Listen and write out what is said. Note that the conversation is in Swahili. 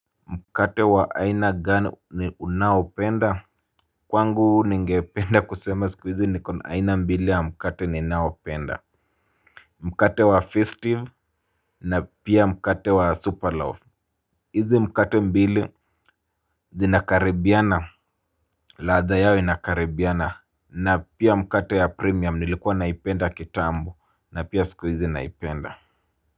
Mkate wa aina gani ni unaopenda? Kwangu ningependa kusema siku hizi nikon aina mbili ya mkate ni naopenda. Mkate wa festive na pia mkate wa super loaf. Izi mkate mbili zinakaribiana. Ladha yao inakaribiana na pia mkate ya premium nilikuwa naipenda kitambuona pia siku hizi naipenda.